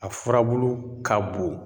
A furabulu ka bon.